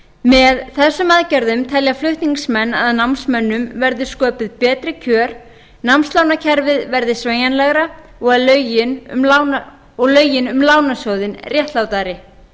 með þessum aðgerðum telja flutningsmenn að námsmönnum verði sköpuð betri kjör námslánakerfið verði sveigjanlegra og lögin um lánasjóðinn réttlátari